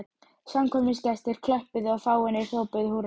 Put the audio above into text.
Samkvæmisgestir klöppuðu og fáeinir hrópuðu húrra.